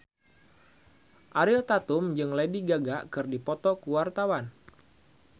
Ariel Tatum jeung Lady Gaga keur dipoto ku wartawan